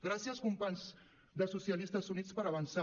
gràcies companys de socialistes units per avançar